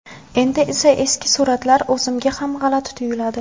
Endi esa eski suratlar o‘zimga ham g‘alati tuyiladi.